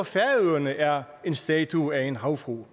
færøerne er en statue af en havfrue